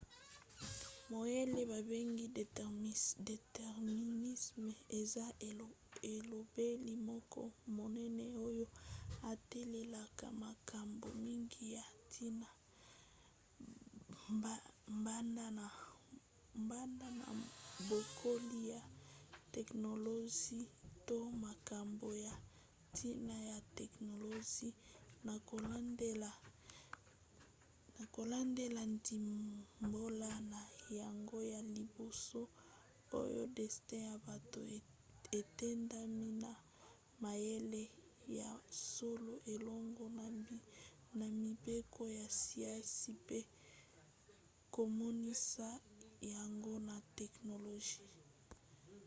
mayele babengi déterminisme eza elobeli moko monene oyo etalelaka makambo mingi ya ntina banda na bokoli ya teknolozi to makambo ya ntina ya teknolozi na kolandela ndimbola na yango ya liboso oyo destin ya bato etindami na mayele ya solo elongo na mibeko ya siansi pe komonisa yango na teknolozi